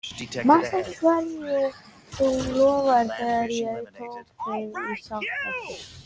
Manstu ekki hverju þú lofaðir þegar ég tók þig í sátt aftur?